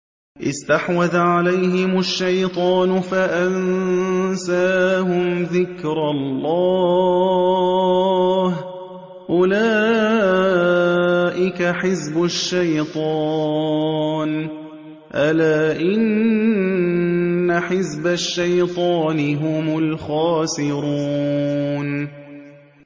اسْتَحْوَذَ عَلَيْهِمُ الشَّيْطَانُ فَأَنسَاهُمْ ذِكْرَ اللَّهِ ۚ أُولَٰئِكَ حِزْبُ الشَّيْطَانِ ۚ أَلَا إِنَّ حِزْبَ الشَّيْطَانِ هُمُ الْخَاسِرُونَ